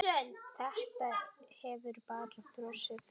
Þetta hefur bara þróast þannig.